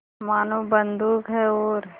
मानो बंदूक है और